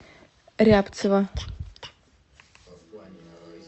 рябцева